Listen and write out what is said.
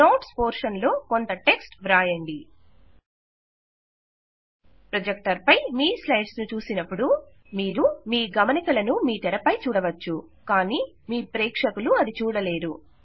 notes portion లో కొంత text వ్రాయండి ప్రొజెక్టర్ పై మీ స్లైడ్స్ ను చూసినపుడు మీరు మీ గమనికలను మీ తెరపై చూడవచ్చు కానీ మీ ప్రేక్షకులు అది చూడలేరు